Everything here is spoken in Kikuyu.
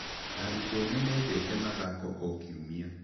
Arutwo nĩ mendete mathako o Kiumia.